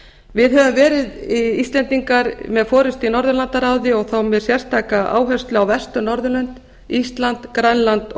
við íslendingar höfum verið með forustu í norðurlandaráði og þá með sérstaka áherslu á vestur norðurlöndin ísland grænland og